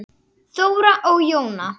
Þóra og Jóna.